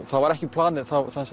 það var ekki planið